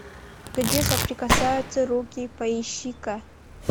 где соприкасаются руки поищи ка